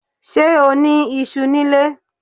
Ṣé o ní iṣú ní ilé?